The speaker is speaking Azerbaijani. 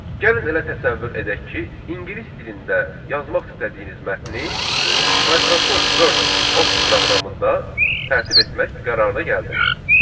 Gəlin elə təsəvvür edək ki, ingilis dilində yazmaq istədiyiniz mətni Microsoft Word Office proqramında tərtib etmək qərarına gəldiniz.